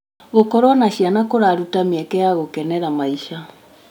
Gũkorwo na ciana kũraruta mĩeke ya gũkenera maica.